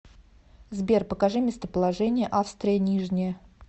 сбер покажи местоположение австрия нижняя